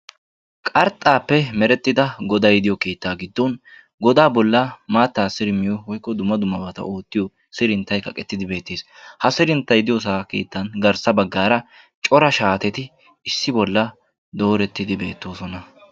Qarxxaappe meretida godday de'iyo keettaa giddon godaa bollan maattaa sirimmiyo woykko dumma dummabata ootiyo sirinttay kaqqettidi bettees. Ha sirinttaa diyossaa keettaa garssa baggaara cora shaateti issi bolla doorettidi beettoosona.